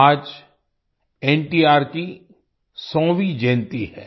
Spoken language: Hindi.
आज एनटीआर की 100वीं जयंती है